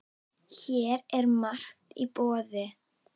Hér er margt í boði.